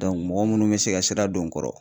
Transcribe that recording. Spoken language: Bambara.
mɔgɔ munnu bɛ se ka sira don o n kɔrɔ.